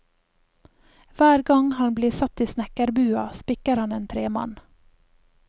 Hver gang han blir satt i snekkerbua, spikker han en tremann.